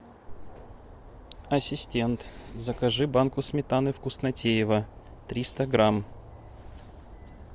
ассистент закажи банку сметаны вкуснотеево триста грамм